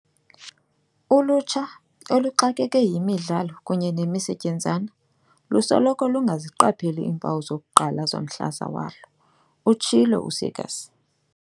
"Ulutsha, oluxakeke yimidlalo kunye nemisetyenzana, lusoloko lungaziqapheli iimpawu zokuqala zomhlaza walo," utshilo u-Seegers.